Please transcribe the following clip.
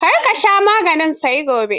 Kar ka sha maganin sai gobe.